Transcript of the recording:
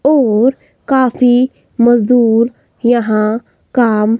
और काफी मजदूर यहां काम--